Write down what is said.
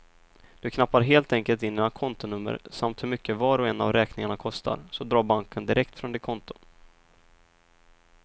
Du knappar helt enkelt in dina kontonummer samt hur mycket var och en av räkningarna kostar, så drar banken direkt från ditt konto.